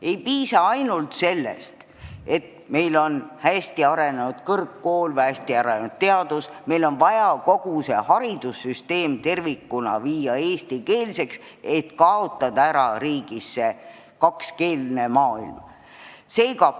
Ei piisa ainult sellest, et meil on hästi arenenud kõrgkoolid või hästi arenenud teadus, meil on vaja kogu haridussüsteem tervikuna viia eestikeelseks, et riigis kakskeelne maailm ära kaotada.